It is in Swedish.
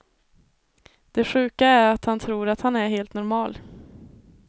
Det sjuka är att han tror att han är helt normal.